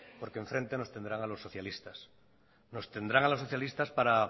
porque en frente nos tendrán a los socialistas nos tendrán a los socialistas para